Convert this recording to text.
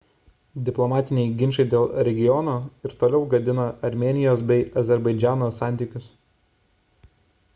diplomatiniai ginčai dėl regiono ir toliau gadina armėnijos bei azerbaidžano santykius